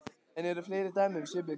En eru fleiri dæmi um svipuð viðbrögð?